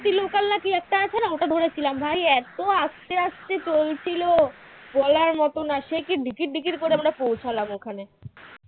ওটা ধরেছিলাম ভাই এত আস্তে আস্তে চলছিল বলার মত না সেকি ধিকির ধিকির করে পৌঁছালাম ওখানে